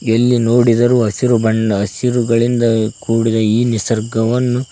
ಎಲ್ಲಿ ನೋಡಿದರೂ ಹಸಿರು ಬಣ್ಣ ಹಸಿರುಗಳಿಂದ ಕೂಡಿದ ಈ ನಿಸರ್ಗವನ್ನು--